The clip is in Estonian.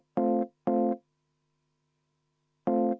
Kümme minutit vaheaega.